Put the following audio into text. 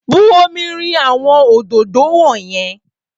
Bu omi rin àwọn òdòdó wọ̀nyẹn!